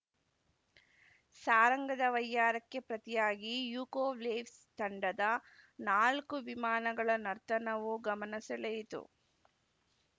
ಸಾರಂಗದ ವೈಯ್ಯಾರಕ್ಕೆ ಪ್ರತಿಯಾಗಿ ಯಕೊವ್ಲೆಸ್ ತಂಡದ ನಾಲ್ಕು ವಿಮಾನಗಳ ನರ್ತನವೂ ಗಮನ ಸೆಳೆಯಿತು